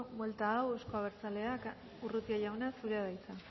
buelta hau euzko abertzaleak urrutia jauna zurea da hitza